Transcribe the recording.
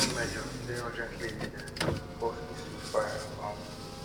measures dey urgently needed to enforce a ceasefire um